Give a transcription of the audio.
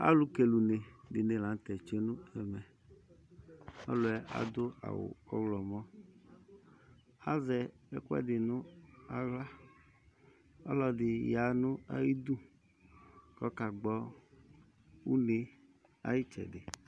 Alʋ kele une dɩnɩ la nʋ tɛ tsue nʋ ɛmɛƆlʋɛ adʋ awʋ ɔɣlɔmɔ, azɛ ɛkʋɛdɩ nʋ aɣlaƆlɔdɩ ya nʋ ayidu kɔka gbɔ une ayɩtsɛdɩ